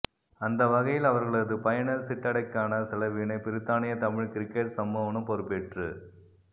அந்த வகையில் அவர்களது பயண சிட்டடைக்கான செலவினை பிரித்தானிய தமிழ் கிரிக்கெட் சம்மேளனம் பொறுப்பேற்று